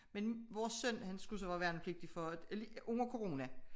Men vores søn han skulle så være værnepligtig for under corona